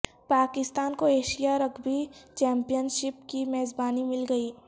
پاکستان کو Asia rugby championship کی میزبانی مل گئی